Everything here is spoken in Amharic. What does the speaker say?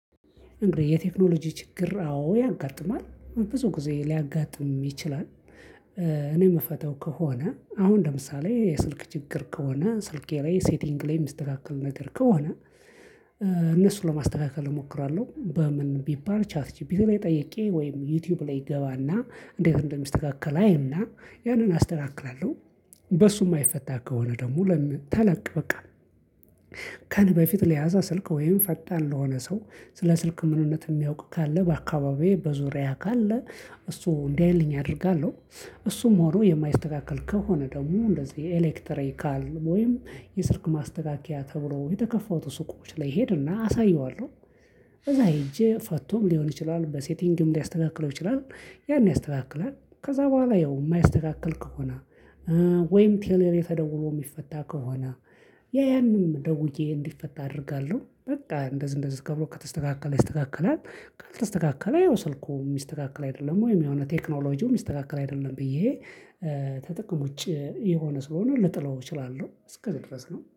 እንግዲህ የቴክኖሎጂ ችግር አዎ ያጋጥማል ብዙ ጊዜ ሊያጋጥም ይችላል። እኔ የምፈተው ከሆነ አሁን ለምሳሌ የስልክ ችግር ከሆነ ስልኬ ላይ ሴቲንግ ላይ የምትስተካከለ ነገር ከሆነ። እነሱን ለማስተካከል እሞክራለሁ በምን ቢባል ቻት ጂፒቲይ ላይ ጠይቄ ወይም ዩቲዩብ ላይ እገባና እንዴት እንደሚስተካከል አይና ያንን አስተካክላለሁ። በሱ የማይፈታ ከሆነ ደግሞ ለምን ተለቅ በቃ። ከኔ በፊት ለያዘ ስልክ ወይም ፈጣን ለሆነ ሰው ስለ ስልክ ምንነት የሚያውቅ ካለ በአካባቢዬ በዙሪያህ ካለ እሱ እንዲያይልኝ አደርጋለሁ። እሱም ሆኖ የማይስተካከል ከሆነ ደግሞ እንደዚህ የኤሌክተሪካል ወይም የስርክ ማስተካከያ ተብሎ የተከፋቱ ሱቆች ላይ ሄድና አሳየዋለሁ። በዛ ሄጄ ፈቶም ሊሆን ይችላል በሴቲንግም ሊያስተካክለው ይችላል። ያን ያስተካክላል ከዛ በኋላ ያው የማያስተካክል ከሆነ። ወይም ቴሌ ላይ ተደወሎ የሚፈታ ከሆነ ያ ያንንም ደውዬ እንዲፈታ አደርጋለሁ በቃ እንደዚአንደዚ ከብሎ ከተስተካከለ ይስተካከላል። ከልተስተካከለ ይኸው ስልኩ የሚስተካከል አይደለም ወይም የሆነ ቴክኖሎጂው የሚስተካከል አይደለም ብዬ። ተጠቅሞ ውጪ የሆነ ስለሆነ ልጥለው እችላለሁ እስከዚህ ድረስ ነው